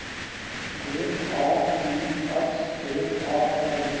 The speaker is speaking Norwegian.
G A U S D A L